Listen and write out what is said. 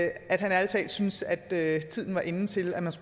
at han ærlig talt synes at at tiden er inde til at